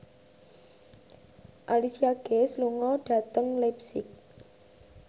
Alicia Keys lunga dhateng leipzig